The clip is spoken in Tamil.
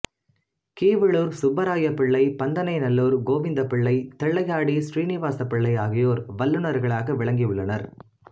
கீவளூர் சுப்பராய பிள்ளை பந்தணைநல்லூர் கோவிந்தபிள்ளை தில்லையாடி ஸ்ரீநிவாச பிள்ளை ஆகியோர் வல்லுனர்களாக விளங்கியுள்ளனர்